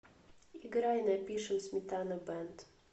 играй напишем сметана бэнд